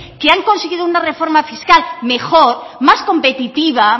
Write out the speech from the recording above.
que han conseguido una reforma fiscal mejor más competitiva